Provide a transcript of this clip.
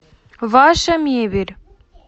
ваша мебель